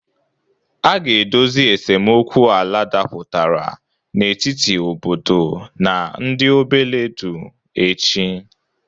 A ga-edozi esemokwu ala dapụtara n'etiti obodo na ndị Obeledu echi.